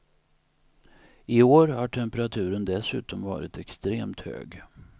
I år har temperaturen dessutom varit extremt hög.